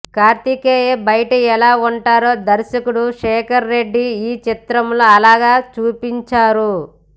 కార్తికేయ బయట ఎలా ఉంటాడో దర్శకుడు శేఖర్ రెడ్డి ఈ చిత్రంలో అలాగే చూపించారు